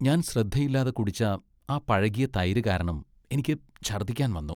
ഞാൻ ശ്രദ്ധയില്ലാതെ കുടിച്ച ആ പഴകിയ തൈര് കാരണം എനിക്ക് ഛർദ്ദിക്കാൻ വന്നു.